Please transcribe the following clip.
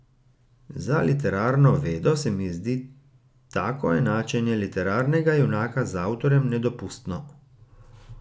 Za literarno vedo se mi zdi tako enačenje literarnega junaka z avtorjem nedopustno.